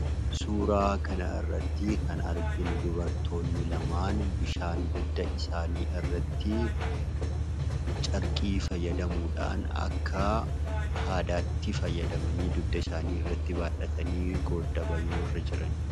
Suuraa kana irratti kan arginu dubartoonni lama bishaan dugda isaanii irratti carqii fayyadamuudhaan akka haadaatti fayyadamuudhaan dugda isaaniirratti baattatanii randa bahaa jiru.